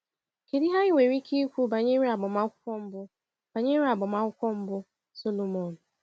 Kedu ihe anyị nwere ike ikwu banyere agbamakwụkwọ mbụ banyere agbamakwụkwọ mbụ Sọlọmọn?